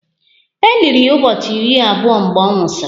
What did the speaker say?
E liri ya ụbọchị iri abụọ mgbe ọ nwụsịrị